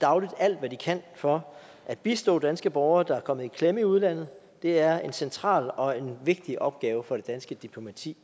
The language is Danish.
dagligt alt hvad de kan for at bistå danske borgere der er kommet i klemme i udlandet det er en central og en vigtig opgave for det danske diplomati